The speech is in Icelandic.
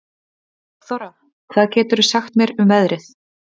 Borgþóra, hvað geturðu sagt mér um veðrið?